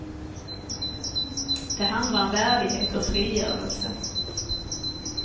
Det handlar om värdighet och frigörelse.